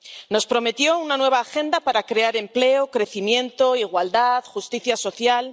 Nos prometió una nueva agenda para crear empleo, crecimiento, igualdad, justicia social.